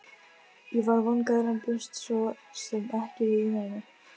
Ég var vongóður en bjóst svo sem ekki við neinu.